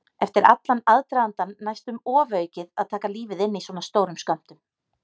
Eftir allan aðdragandann næstum ofaukið að taka lífið inn í svona stórum skömmtum.